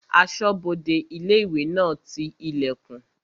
Asọ́bodè ilé-ìwé náà ti ilẹ̀kùn